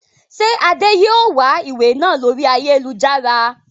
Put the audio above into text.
Ṣé Adé yìí ó wà ìwé náà lórí ayélujára?